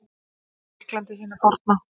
Grikklandi hinu forna.